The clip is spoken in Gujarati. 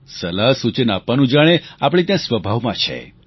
સલાહસૂચન આપવાનું જાણે આપણે ત્યાં સ્વભાવમાં છે